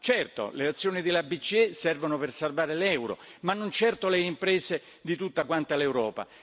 Certo, le azioni della BCE servono per salvare l'euro, ma non certo le imprese di tutta Europa.